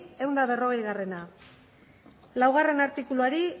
ehun eta berrogei laugarrena artikuluari